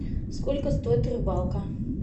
сколько стоит рыбалка